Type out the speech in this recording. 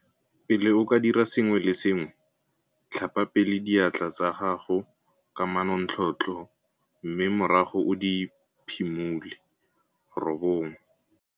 Pele o ka dira sengwe le sengwe, tlhapa pele diatla tsa gago ka manontlhotlho mme morago o di phimole.